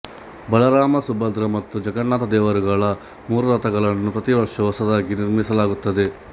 ಬಲರಾಮ ಸುಭದ್ರ ಮತ್ತು ಜಗನ್ನಾಥ ದೇವರುಗಳ ಮೂರು ರಥಗಳನ್ನು ಪ್ರತಿವರ್ಷವೂ ಹೊಸದಾಗಿ ನಿರ್ಮಿಸಲಾಗುತ್ತದೆ